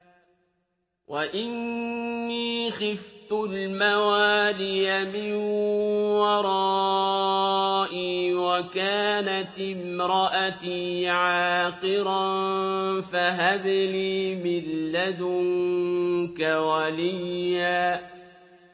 وَإِنِّي خِفْتُ الْمَوَالِيَ مِن وَرَائِي وَكَانَتِ امْرَأَتِي عَاقِرًا فَهَبْ لِي مِن لَّدُنكَ وَلِيًّا